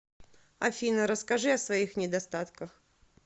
афина расскажи о своих недостатках